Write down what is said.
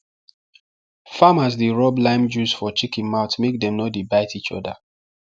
farmers dey rub lime juice for chicken mouth make dem no dey bite each other